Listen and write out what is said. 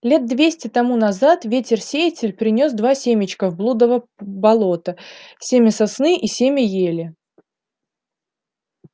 лет двести тому назад ветер-сеятель принёс два семечка в блудово болото семя сосны и семя ели